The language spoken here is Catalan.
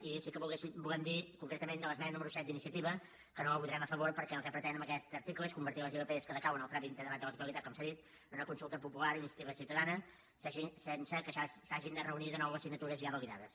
i sí que volem dir concretament de l’esmena número set d’iniciativa que no la votarem a favor perquè el que pretenen amb aquest article és convertir les ilp que decauen en el tràmit de debat de la totalitat com s’ha dit en una consulta popular d’iniciativa ciutadana sense que s’hagin de reunir de nou les signatures ja validades